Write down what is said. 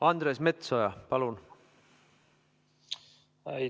Andres Metsoja, palun!